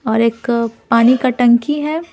और एक पानी का टंकी है।